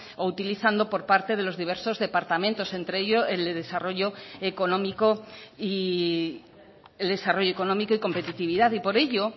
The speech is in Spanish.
o utilizando por parte de los diversos departamentos entre ellos el de desarrollo económico y competitividad y por ello